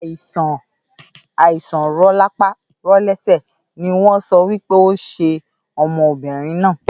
Àìsàn rolapa rolese no wọn sọ wípé onṣẹ ọmọbìnrin náà